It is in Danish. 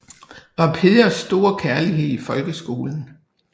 Var Peders store kærlighed i folkeskolen